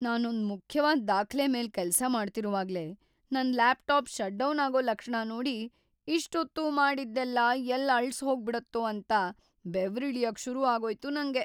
ನಾನೊಂದ್ ಮುಖ್ಯವಾದ್ ದಾಖ್ಲೆ ಮೇಲ್‌ ಕೆಲ್ಸ ಮಾಡ್ತಿರುವಾಗ್ಲೇ ನನ್ ಲ್ಯಾಪ್ಟಾಪ್ ಶಟ್‌ ಡೌನಾಗೋ ಲಕ್ಷಣ ನೋಡಿ ಇಷ್ಟೊತ್ತೂ ಮಾಡಿದ್ದೆಲ್ಲ ಎಲ್ಲ್ ಅಳ್ಸ್‌ಹೋಗ್ಬಿಡತ್ತೋ ಅಂತ ಬೆವ್ರಿಳಿಯಕ್‌ ಶುರು ಆಗೋಯ್ತು ನಂಗೆ.